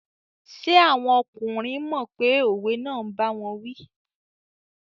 Ṣé àwọn ọkùnrin mọ̀ pé òwe náà n báwọn wí?